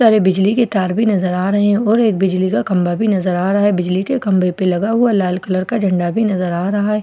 तरह बिजली के तार भी नजर आ रहे हैं और एक बिजली का खंभा भी नजर आ रहा है बिजली के खंभे पे लगे लगा हुआ लाल कलर का झंडा भी नजर आ रहा है और सटर--